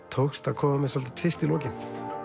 tókst að koma með tvist í lokin